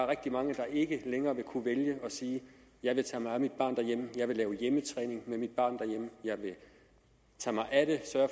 rigtig mange der ikke længere vil kunne vælge at sige jeg vil tage mig af mit barn derhjemme jeg vil lave hjemmetræning med mit barn og jeg vil tage mig af det